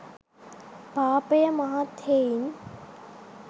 පාපය මහත් හෙයින්